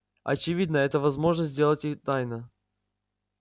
очевидно это возможно сделать и тайно